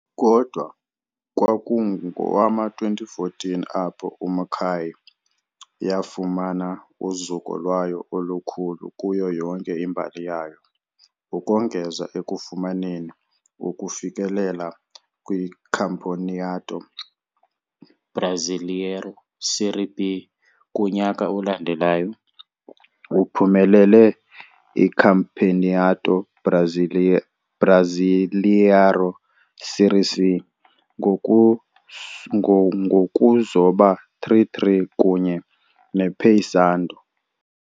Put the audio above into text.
Kodwa kwakungowama-2014 apho iMacaé yafumana uzuko lwayo olukhulu kuyo yonke imbali yayo. Ukongeza ekufumaneni ukufikelela kwiCampeonato Brasileiro Série B kunyaka olandelayo, uphumelele iCampeonato Brasileiro Série C ngokuzoba 3-3 kunye nePaysandu.